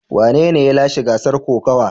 Wanene ya lashe gasar kokawa?